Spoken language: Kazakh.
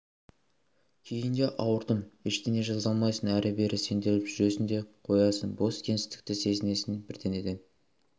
кейін де ауырдым ештеңе жаза алмайсың әрі-бері сенделіп жүресің де қоясың бос кеңістікті сезінесің бірдеңеден